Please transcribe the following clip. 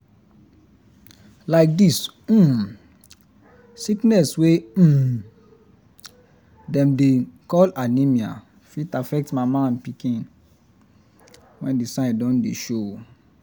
like this um sickness wey um dem dey um call anemia fit affect mama and pikin when the sign don dey show